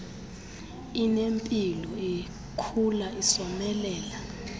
inempilo ikhula isomelela